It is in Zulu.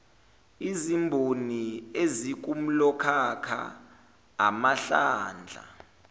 izimboni ezikulomkhakha amahlandla